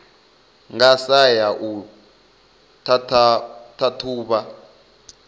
nga sa ya u ṱhaṱhuvha